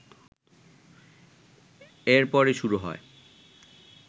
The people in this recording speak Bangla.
এরপরই শুরু হয়